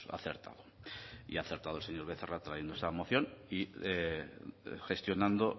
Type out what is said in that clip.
acertado y ha acertado el señor becerra trayendo esta moción y gestionando